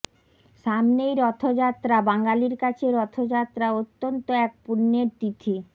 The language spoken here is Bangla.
সামনেই রথযাত্রা বাঙালির কাছে রথযাত্রা অত্যন্ত এক পুণ্যের তিথি